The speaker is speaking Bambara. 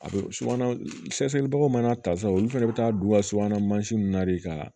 A bɛ subahanasɛlibaw fana ta sisan olu fɛnɛ bɛ taa don u ka subana mansin na de ka